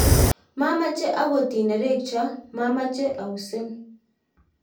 mameche akot inerekcho machame ausin